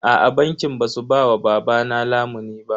Aa bankin ba su ba wa babana lamunin ba.